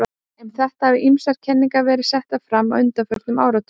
Um þetta hafa ýmsar kenningar verið settar fram á undanförnum áratugum.